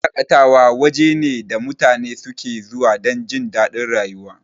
Wuraren shaƙatawa waje ne da mutane suke zuwa dan jindadin rayuwa.